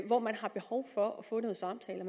hvor man har behov for at få nogle samtaler